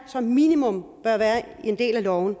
som minimum bør være en del af loven